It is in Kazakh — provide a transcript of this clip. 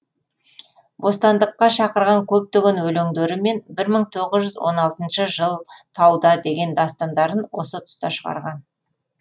бостандыққа шақырған көптеген өлеңдері мен бір мың тоғыз жүз он алтыншы жыл тауда деген дастандарын осы тұста шығарған